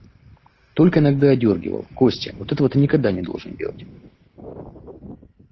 только иногда одёргивал костя вот этого ты никогда не должен делать